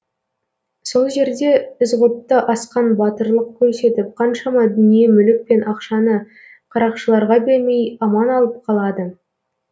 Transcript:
сол жерде ізғұтты асқан батырлық көрсетіп қаншама дүние мүлік пен ақшаны қарақшыларға бермей аман алып қалады